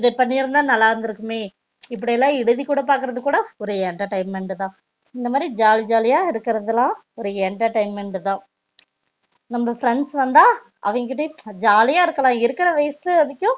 இது பண்ணி இருந்தா நல்ல இருந்து இருக்குமே இப்படி எழுதி கூட பாக்றது கூட ஒரு entertainment தா இந்த மாதிரி ஒரு ஜாலி ஜாலியா இருகர்த்துலாம் ஒரு entertainment தா நம்ப friends வந்தா அவங்க கிட்ட ஜாலி யா இருக்கலாம் இருக்குற வயசு வரைக்கும்